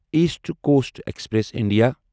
East coast express India